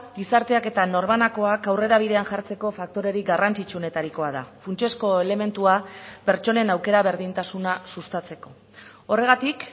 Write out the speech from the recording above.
gizarteak eta norbanakoak aurrera bidean jartzeko faktorerik garrantzitsuenetarikoa da funtsezko elementua pertsonen aukera berdintasuna sustatzeko horregatik